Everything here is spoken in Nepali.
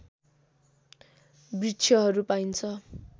वृक्षहरू पाइनु